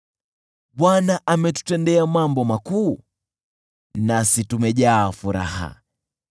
Bwana ametutendea mambo makuu, nasi tumejaa furaha.